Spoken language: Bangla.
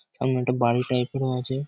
সামনে একটা বাড়ি টাইপ -এরও আছে।